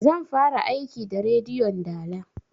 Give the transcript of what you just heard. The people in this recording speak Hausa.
Zan fara aiki da rediyon dala